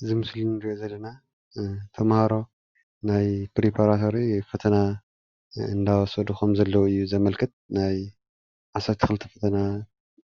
እዚ ምስሊ እንሪኦ ዘለና ተማሃሮ ናይ ፕሪፓራቶሪ ፈተና እንዳወሰዱ ከምዘለዉ እዩ ዘመልክት፡፡ ናይ 12 ክፍሊ ፈተና